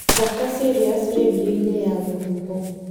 thaaka sirius rĩndiũ-inĩ ya rũhuho